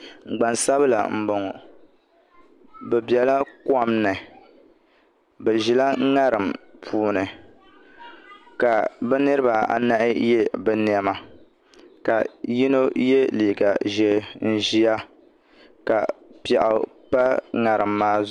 Gbansabila n boŋo bi biɛla kom ni bi ʒila ŋarim puuni ka bi niraba anahi yɛ bi niɛma ka yino yɛ liiga ʒiɛ n ʒiya ka piɛɣu pa ŋarim maa zuɣu